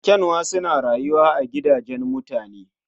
Ƙyanwa suna rayuwa a gidajen mutane